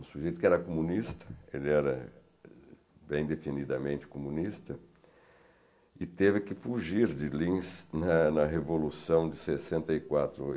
um sujeito que era comunista, ele era bem definidamente comunista, e teve que fugir de Lins na na Revolução de sessenta e quatro.